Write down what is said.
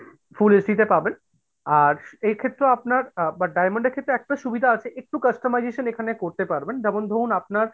full HD তে আর পাবেন আর এই ক্ষেত্রেও আপনার but diamond এর ক্ষেত্রে একটা সুবিধা আছে একটু customization এখানে করতে পারবেন যেমন ধরুন আপনার